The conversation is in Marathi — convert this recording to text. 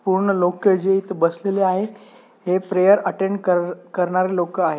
पूर्ण लोक जे इथे बसलेले आहे हे प्रेयर अटेण्ड करन करनारी लोक आहेत.